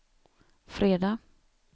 fredag